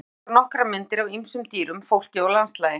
Fyrst voru sýndar nokkrar myndir af ýmsum dýrum, fólki og landslagi.